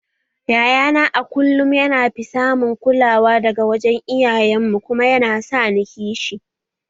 Yayana a kullum yana fi samun kulawa daga wajen iyayen mu kuma yana sa ni kishi